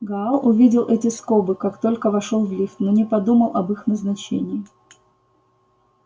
гаал увидел эти скобы как только вошёл в лифт но не подумал об их назначении